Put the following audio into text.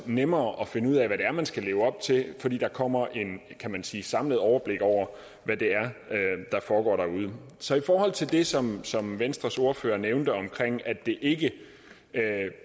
nemmere at finde ud af hvad det er man skal leve op til fordi der kommer kan man sige et samlet overblik over hvad det er der foregår derude så i forhold til det som som venstres ordfører nævnte om at det ikke